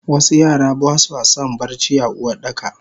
wasu Yara baswason barci a Uwardakaba